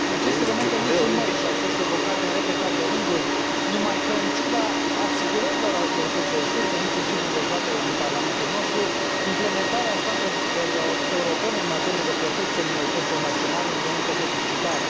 Aceste elemente nu sunt noi și au fost evocate în repetate rânduri, numai că, în ciuda asigurărilor autorităților sârbe, inclusiv în dezbaterile din Parlamentul nostru, implementarea standardelor europene în materie de protecție a minorităților naționale e încă deficitară.